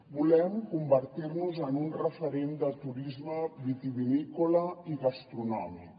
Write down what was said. volem convertir nos en un referent de turisme vitivinícola i gastronòmic